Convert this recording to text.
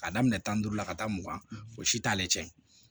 Ka daminɛ tan ni duuru la ka taa mugan fo si t' ale cɛ